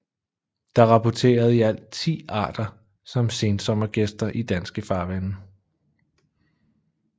Der er rapporteret i alt 10 arter som sensommergæster i danske farvande